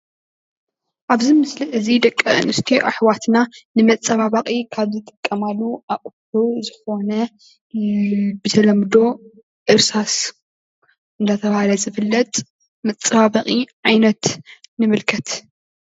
እዚ ምስሊ ናይ ደቂ ኣንስትዮ ዘመናዊ መፀባበቂ ኩሕሊ ይበሃል።